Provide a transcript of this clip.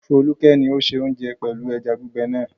Folúkẹ́ ni ó se oúnjẹ pẹ̀lú ẹja gbígbẹ náà.